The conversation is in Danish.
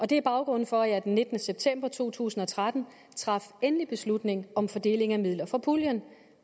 det er baggrunden for at jeg den nittende september to tusind og tretten traf endelig beslutning om fordeling af midler fra puljen